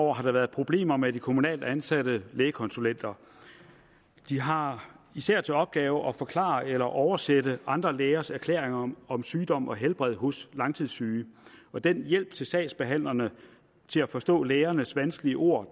år har der været problemer med de kommunalt ansatte lægekonsulenter de har især til opgave at forklare eller oversætte andre lægers erklæringer om om sygdom og helbred hos langtidssyge og den hjælp til sagsbehandlerne til at forstå lægernes vanskelige ord